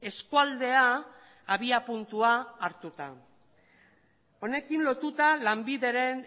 eskualdea abiapuntua hartuta honekin lotuta lanbideren